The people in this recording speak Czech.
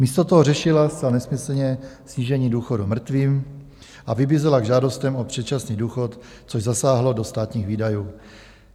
Místo toho řešila zcela nesmyslně snížení důchodu mrtvým a vybízela k žádostem o předčasný důchod, což zasáhlo do státních výdajů.